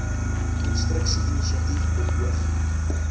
konstruksie inisiatief beoog